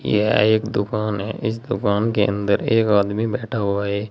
यह एक दुकान है इस दुकान के अंदर एक आदमी बैठा हुआ है।